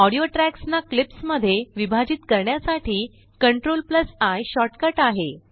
ऑडियोट्रयाक्सनाक्लिप्स मध्येविभाजित करण्यासाठीCTRLI शोर्टकट आहे